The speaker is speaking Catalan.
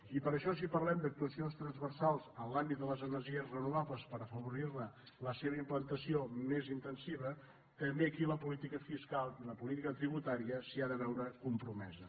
i per això si parlem d’actuacions transversals en l’àmbit de les energies renovables per afavorir·ne la implantació més intensiva també aquí la política fiscal i la política tributària s’hi han de veure compromeses